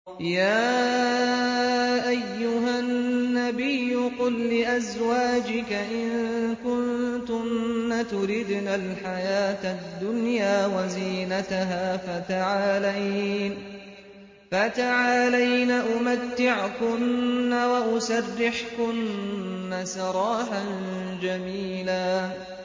يَا أَيُّهَا النَّبِيُّ قُل لِّأَزْوَاجِكَ إِن كُنتُنَّ تُرِدْنَ الْحَيَاةَ الدُّنْيَا وَزِينَتَهَا فَتَعَالَيْنَ أُمَتِّعْكُنَّ وَأُسَرِّحْكُنَّ سَرَاحًا جَمِيلًا